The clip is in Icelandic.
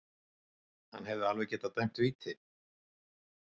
Hann hefði alveg getað dæmt víti.